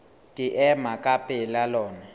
ke ema ka pela lona